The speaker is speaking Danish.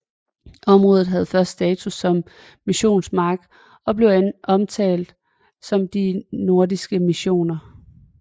Området havde først status som missionsmark og blev omtalt som de nordiske missioner